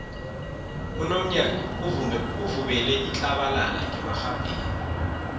unomnyanya uvubela itlabalala ngemarhabheni